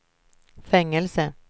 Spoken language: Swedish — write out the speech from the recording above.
fängelse